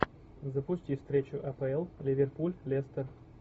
запусти встречу апл ливерпуль лестер